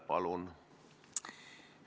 Palun!